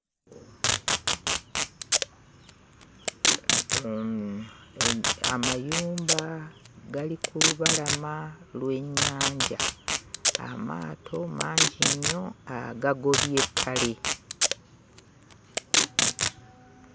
Amayumba gali ku lubalama lw'ennyanja. Amaato mangi nnyo agagobye ettale.